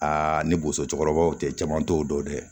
Aa ni boso cɛkɔrɔbaw te jama t'o dɔn dɛ